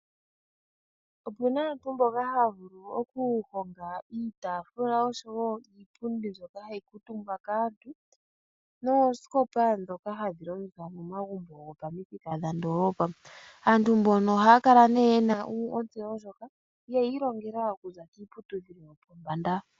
Opu na aantu mboka haya vulu okuhonga iitaafula oshowo iipundi mbyoka hayi kuutumbwa kaantu noosikopa ndhoka hadhi longithwa momagumbo gopandoolopa. Aantu mbano ohaya kala nee ye na ontseyo ndjika yeyi ilongela okuza piiputudhilo yopombanda.